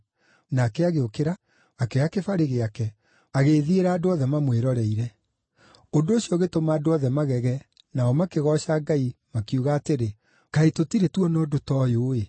Nake agĩũkĩra, akĩoya kĩbarĩ gĩake, agĩĩthiĩra andũ othe mamwĩroreire. Ũndũ ũcio ũgĩtũma andũ othe magege, nao makĩgooca Ngai, makiuga atĩrĩ, “Kaĩ tũtirĩ tuona ũndũ ta ũyũ-ĩ!”